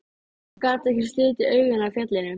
Hún gat ekki slitið augun af fjallinu.